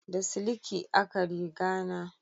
Da siliki a ka riga na